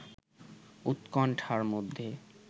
উৎকণ্ঠার মধ্যে